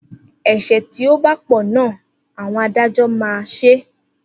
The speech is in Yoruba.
Ese ti ọ ba pò na àwọn adájọ́ máa ṣe